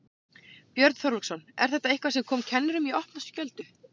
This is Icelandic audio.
Björn Þorláksson: Er þetta eitthvað sem kom kennurum í opna skjöldu?